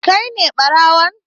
Kai ne ɓarawon?